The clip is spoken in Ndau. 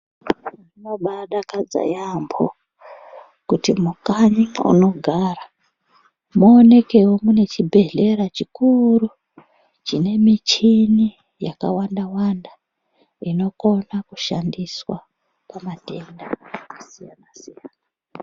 Zvinobaadakadza yaamho kuti mukanyi mwaunogara mwoonekewo mune chibhedhlera chukuru chine michini yakawanda wanda inokone kushandiswa pamatenda akasiyana siyana.